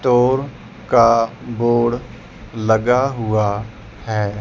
Toll का board लगा हुआ है।